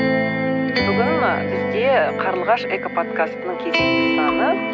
бүгін бізде қарлығаш экоподкастының кезекті саны